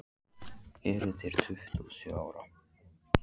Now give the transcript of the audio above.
Eruð þér tuttugu og sjö ára.